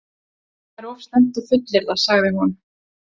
Það er of snemmt að fullyrða, sagði hún.